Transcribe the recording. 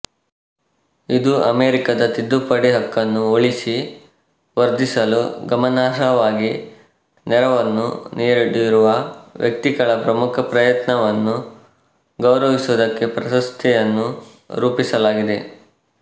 ಇದು ಅಮೆರಿಕದ ತಿದ್ದುಪಡಿ ಹಕ್ಕನ್ನು ಉಳಿಸಿ ವರ್ಧಿಸಲು ಗಮನಾರ್ಹವಾಗಿ ನೆರವನ್ನು ನೀಡಿರುವ ವ್ಯಕ್ತಿಗಳ ಪ್ರಮುಖ ಪ್ರಯತ್ನವನ್ನು ಗೌರವಿಸುವುದಕ್ಕೆ ಪ್ರಶಸ್ತಿಯನ್ನು ರೂಪಿಸಲಾಗಿದೆ